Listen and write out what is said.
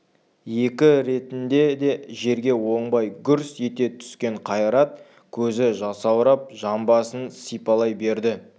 екі ретінде де жерге оңбай гүрс ете түскен қайрат көзі жасаурап жамбасын сипалай берді